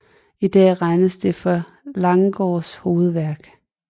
I dag regnes det for Langgaards hovedværk